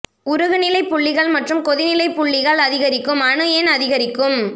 உருகுநிலை புள்ளிகள் மற்றும் கொதிநிலை புள்ளிகள் அதிகரிக்கும் அணு எண் அதிகரிக்கும்